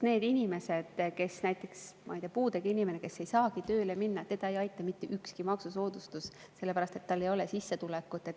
Näiteks, ma ei tea, kui on puudega inimene, kes ei saagi tööle minna – teda ei aita mitte ükski maksusoodustus, sellepärast et tal ei ole sissetulekut.